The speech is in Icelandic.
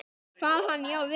Kvað hann já við.